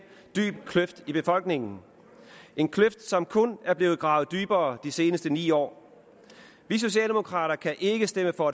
kløft i befolkningen en kløft som kun er blevet gravet dybere de seneste ni år vi socialdemokrater kan ikke stemme for